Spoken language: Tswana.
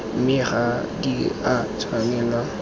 mme ga di a tshwanelwa